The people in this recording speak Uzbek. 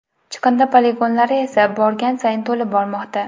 Chiqindi poligonlari esa borgan sayin to‘lib bormoqda.